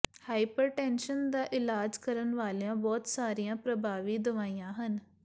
hypertension ਦਾ ਇਲਾਜ ਕਰਨ ਵਾਲੀਆਂ ਬਹੁਤ ਸਾਰੀਆਂ ਪ੍ਰਭਾਵੀ ਦਵਾਈਆਂ ਹਨ